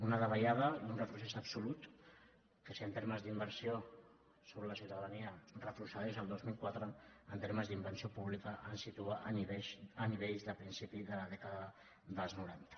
una davallada i un retrocés absolut que si en termes d’inversió sobre la ciutadania retrocedeix al dos mil quatre en termes d’inversió pública ens situa a nivells de principi de la dècada dels noranta